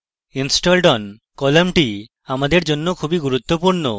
installed on কলামটি আমাদের জন্য খুবই গুরুত্বপূর্ণ